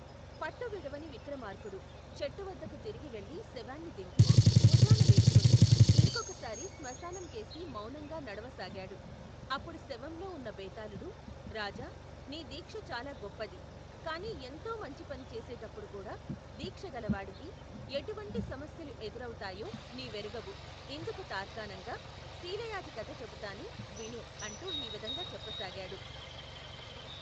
పట్టు విడవని విక్రమార్కుడు, చెట్టువద్దకు తిరిగి వెళ్లి శవాన్ని దింపి, భుజాన వేసుకొని, ఇంకొకసారి శ్మశానంకేసి మౌనంగా నడవసాగాడు, అప్పుడు శవంలో ఉన్న బేతాళుడు, రాజా, నీ దీక్ష చాలా గొప్పది, కాని ఎంతో మంచిపని చేసేటప్పుడుకూడా, దీక్ష గలవాడికి, ఎటువంటి సమస్యలు ఎదురవుతాయో, నీవెరగవు ఇందుకు తార్కాణంగా, శీలయాజి కథ చెబుతాను, విను అంటూ ఈ విధంగా చెప్పసాగాడు.